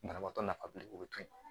Banabaatɔ nafa biri o bɛ to yen